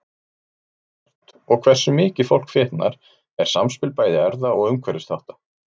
Hvort og hversu mikið fólk fitnar er samspil bæði erfða og umhverfisþátta.